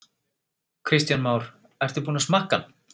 Kristján Már: Ertu búinn að smakka hann?